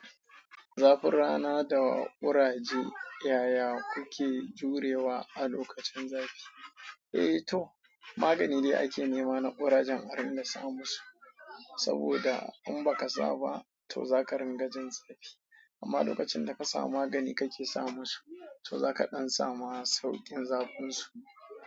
Zafin rana da ƙuraje, yaya kuke jurewa a lokacin zafi? Eh to magani dai ake nema na ƙurajen a ringa sa musu saboda in baka saba to zaka dinga jin zafi amma lokacin da kasa magani kake sa musu to zaka dan samu saukin zafinsu.